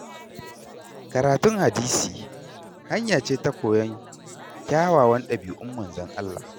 Karatun Hadisi, hanya ce ta koyon kyawawan ɗabiu'n Manzon Allah.